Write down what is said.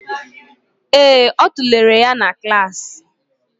Ee, ọ tụlere ya na klas